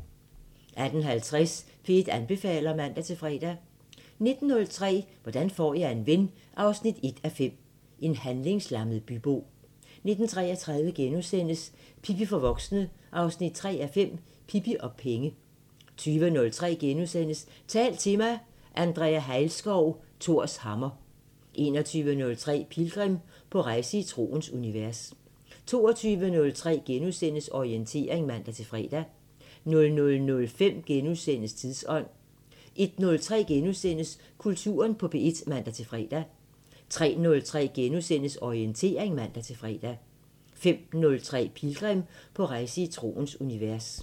18:50: P1 anbefaler (man-fre) 19:03: Hvordan får jeg en ven 1:5 – En handlingslammet bybo 19:33: Pippi for voksne 3:5 – Pippi og penge * 20:03: Tal til mig – Andrea Hejlskov: Thors hammer * 21:03: Pilgrim – på rejse i troens univers 22:03: Orientering *(man-fre) 00:05: Tidsånd * 01:03: Kulturen på P1 *(man-fre) 03:03: Orientering *(man-fre) 05:03: Pilgrim – på rejse i troens univers